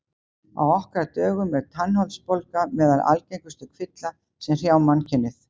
Á okkar dögum er tannholdsbólga meðal algengustu kvilla sem hrjá mannkynið.